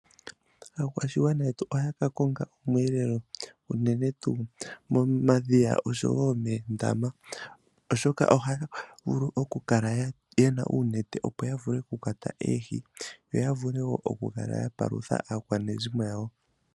Aakwashigwana yetu ohaya ka konga omweelelo, enene tuu momadhiya oshowo moondama. Oshoka ohaga vulu okukala yena uunete opo ya vule okukwata oohi, yo ya vule wo okukala ya palutha aakwanezimo yawo.